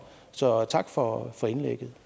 så tak for for indlægget